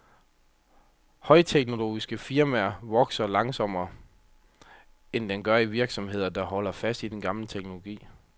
Højteknologiske firmaers produktivitet vokser langsommere, end den gør i virksomheder, der holder fast i den gamle teknologi.